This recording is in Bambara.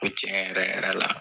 Ko cɛn yɛrɛ yɛrɛ la